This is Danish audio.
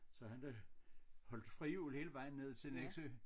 Så han har holdt frihjul hele vejen ned til Nexø